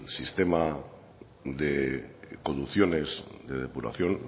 sistema de conducciones de depuración